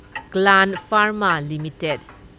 Gland Pharma limited